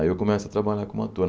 Aí eu começo a trabalhar como ator.